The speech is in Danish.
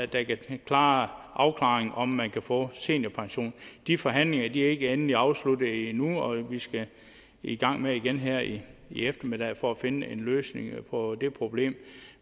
der kan klare afklaringen om man kan få seniorpension de forhandlinger er ikke endeligt afsluttet endnu og vi skal i gang igen her i eftermiddag for at finde en løsning på det problem